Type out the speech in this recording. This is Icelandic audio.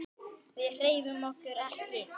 Við hreyfum okkur ekki.